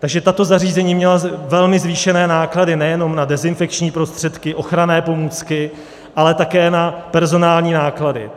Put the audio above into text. Takže tato zařízení měla velmi zvýšené náklady nejenom na dezinfekční prostředky, ochranné pomůcky, ale také na personální náklady.